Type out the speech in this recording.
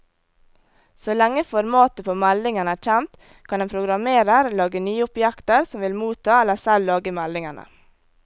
Så lenge formatet på meldingen er kjent, kan en programmerer lage nye objekter som vil motta eller selv lage meldingene.